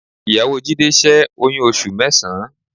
Ìyàwó Jídé ṣẹ́ oyún oṣù mẹ́sàn-án